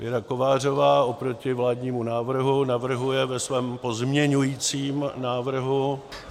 Věra Kovářová oproti vládními návrhu navrhuje ve svém pozměňovacím návrhu -